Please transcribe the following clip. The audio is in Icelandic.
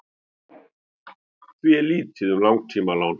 því er lítið um langtímalán